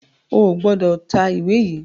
o gbódò tá ìwé yí!